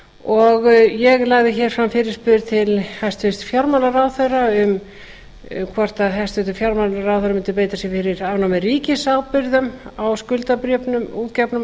og ég lagði fram fyrirspurn til hæstvirts fjármálaráðherra um hvort hæstvirtur fjármálaráðherra mundi beita sér fyrir afnámi ríkisábyrgðar á skuldabréfum út gefnum